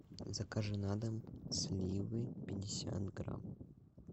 закажи на дом сливы пятьдесят грамм